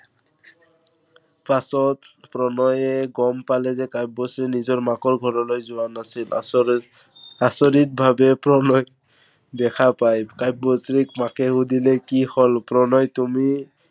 পাছত প্ৰণয়ে গম পালে যে কাব্যশ্ৰী নিজৰ মাকৰ ঘৰলৈ যোৱা নাছিল। আচৰিত, আচৰিত ভাৱে প্ৰণয়ক দেখা পায় কাব্যশ্ৰীক মাকে সুধিলে, কি হল প্ৰণয়, তুমি